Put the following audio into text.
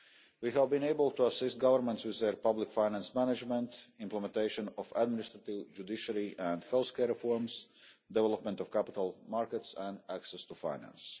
We have been able to assist governments with their public finance management, implementation of administrative, judiciary and health care reforms, development of capital markets and access to finance.